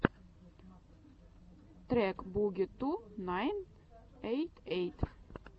трек буги ту найн эйт эйт